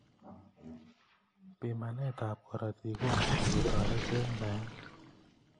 Bimanet ab karotik komuch koteret eng naet.